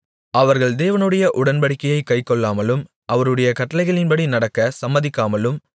அவர்கள் தேவனுடைய உடன்படிக்கையைக் கைக்கொள்ளாமலும் அவருடைய கட்டளைகளின்படி நடக்கச் சம்மதிக்காமலும்